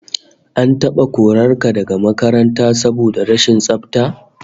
An taba korar ka daga makaranta saboda rashin tsafta?